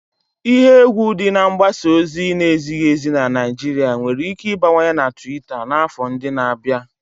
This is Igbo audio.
Ihe egwu dị na mgbasa ozi na-ezighi ezi na Naijiria nwere ike ịbawanye na Tuita n'afọ ndị na-abịa.